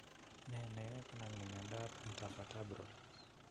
Ne ne yoe konamin miondap ntervertebral?